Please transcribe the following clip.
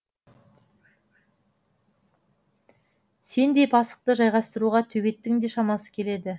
сендей пасықты жайғастыруға төбеттің де шамасы келеді